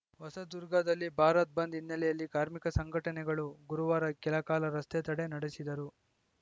ಹೊಸದುರ್ಗದಲ್ಲಿ ಭಾರತ್‌ ಬಂದ್‌ ಹಿನ್ನೆಲೆಯಲ್ಲಿ ಕಾರ್ಮಿಕ ಸಂಘಟನೆಗಳು ಗುರುವಾರ ಕೆಲಕಾಲ ರಸ್ತೆ ತಡೆ ನಡೆಸಿದರು